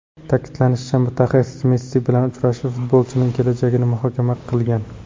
Ta’kidlanishicha, mutaxassis Messi bilan uchrashib, futbolchining kelajagini muhokama qilgan.